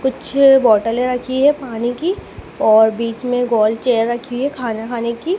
कुछ बॉटले रखी है पानी की और बीच में गोल चेयर रखी है खाना खाने की--